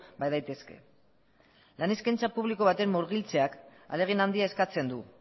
badaitezke lan eskaintza publiko baten murgiltzeak ahalegin handia eskatzen du